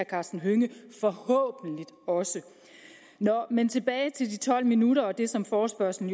karsten hønge forhåbentlig også nå men tilbage til de tolv minutter og det som forespørgslen